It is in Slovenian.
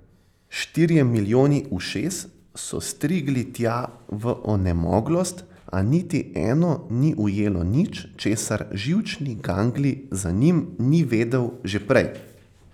Štirje milijoni ušes so strigli tja v onemoglost, a niti eno ni ujelo nič, česar živčni ganglij za njim ni vedel že prej.